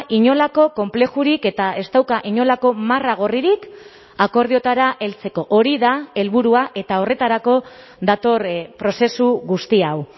inolako konplexurik eta ez dauka inolako marra gorririk akordioetara heltzeko hori da helburua eta horretarako dator prozesu guzti hau